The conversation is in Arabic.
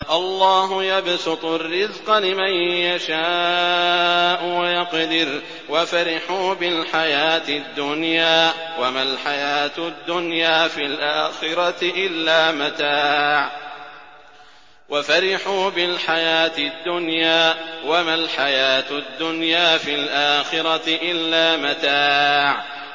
اللَّهُ يَبْسُطُ الرِّزْقَ لِمَن يَشَاءُ وَيَقْدِرُ ۚ وَفَرِحُوا بِالْحَيَاةِ الدُّنْيَا وَمَا الْحَيَاةُ الدُّنْيَا فِي الْآخِرَةِ إِلَّا مَتَاعٌ